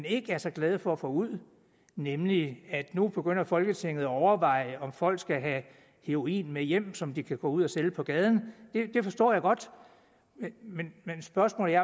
ikke er så glade for at få ud nemlig at nu begynder folketinget at overveje om folk skal have heroin med hjem som de kan gå ud og sælge på gaden det forstår jeg godt men spørgsmålet